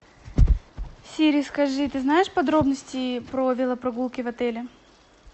сири скажи ты знаешь подробности про велопрогулки в отеле